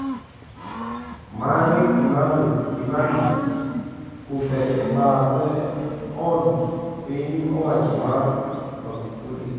Mange Kimambi: Kuthe e bathe od piny owacho mar Magufuli